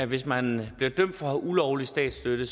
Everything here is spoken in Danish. hvis man bliver dømt for ulovlig statsstøtte